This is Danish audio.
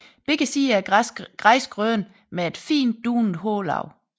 Begge sider er græsgrønne med et fint dunet hårlag